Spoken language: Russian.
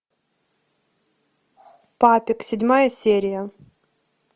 папик седьмая серия